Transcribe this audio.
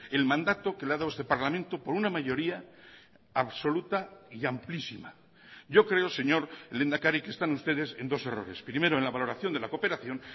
el mandato que le ha dado este parlamento por una mayoría absoluta y amplísima yo creo señor lehendakari que están ustedes en dos errores primero en la valoración de la cooperación